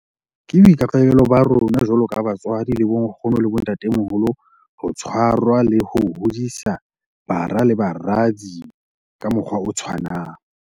Ke boikarabelo ba rona jwalo ka batswadi le bonkgono le bontatemoholo ho tshwarwa le ho hodisa bara le baradi ka mokgwa o tshwanang.